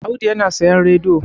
Audu yana sayan radiyo